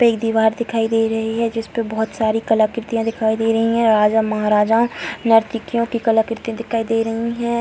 पे एक दीवार दिखाई दे रही है जिसपे बहुत सारी कलाकृतियाँ दिखाई दे रही है राजा महाराजा नर्तकियों की कलाकृति दिखाई दे रही है।